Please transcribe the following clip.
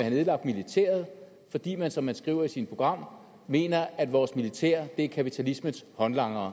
have nedlagt militæret fordi man som man skriver i sit program mener at vores militær er kapitalismens håndlangere